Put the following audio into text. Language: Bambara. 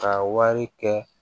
Ka wari kɛ